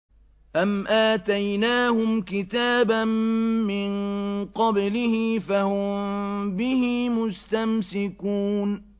أَمْ آتَيْنَاهُمْ كِتَابًا مِّن قَبْلِهِ فَهُم بِهِ مُسْتَمْسِكُونَ